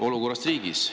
Olukord riigis.